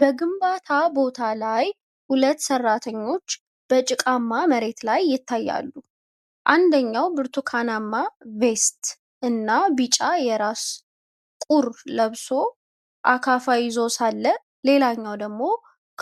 በግንባታ ቦታ ላይ ሁለት ሰራተኞች በጭቃማ መሬት ላይ ይታያሉ፤ አንደኛው ብርቱካናማ ቬስት እና ቢጫ የራስ ቁር ለብሶ አካፋ ይዞ ሳለ፣ ሌላኛው ደግሞ